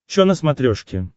чо на смотрешке